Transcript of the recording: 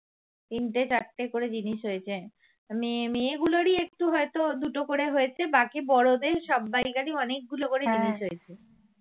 তিনটে চারটে করে জিনিস হয়েছে মেয়ে মেয়ে গুলোরই একটু হয়তো দুটো করে হয়েছে বাকি বড়দের সবাইকারী অনেকগুলো করে জিনিস হয়েছে